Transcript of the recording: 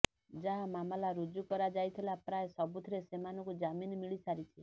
ଯାହା ମାମଲା ରୁଜୁ କରାଯାଇଥିଲା ପ୍ରାୟ ସବୁଥିରେ ସେମାନଙ୍କୁ ଜାମିନ ମିଳି ସାରିଛି